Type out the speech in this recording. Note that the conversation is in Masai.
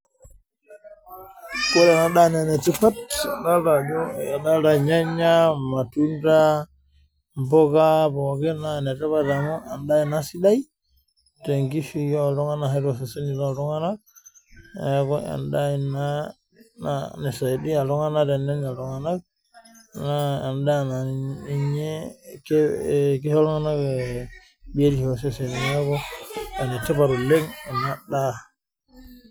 Adolita irnyanyanya, irmatunda ,mbuka enaa pookin naa enetipat amu enda ena sidai te nkishui oltung'ana ashu too seseni loo iltung'ana neeku endaa ena nisaidia iltung'ana tenenyai iltung'ana naa endaa kisho iltung'ana eseseni neeku enetipat ena daa